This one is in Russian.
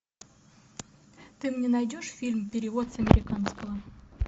ты мне найдешь фильм перевод с американского